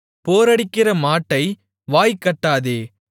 போரடிக்கிற மாட்டை வாய் கட்டாதே